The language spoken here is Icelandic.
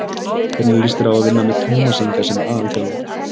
Hvernig líst þér á að vinna með Tómasi Inga sem aðalþjálfara?